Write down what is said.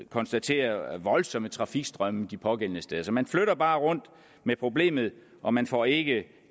konstatere voldsomme trafikstrømme de pågældende steder så man flytter bare rundt med problemet og man får ikke